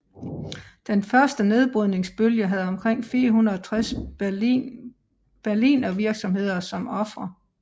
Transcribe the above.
Den første nedbrydningsbølge havde omkring 460 Berlinervirksomheder som ofre